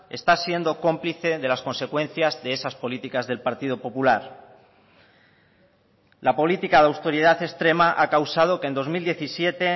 está siendo cómplice de las consecuencias de esas políticas del partido popular la política de austeridad extrema ha causado que en dos mil diecisiete